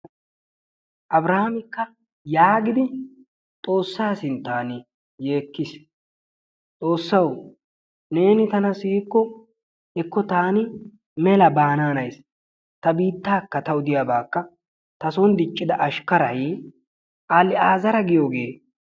Abiraamikka yaagidi xoossaa sinttan yeekkis. Xoossawu neeni tana siyikko hekko taani mela baanaanayssi ta biittaakka tawu diyaabaakka ta sooni diccida ashikaray aliazara giyoogee.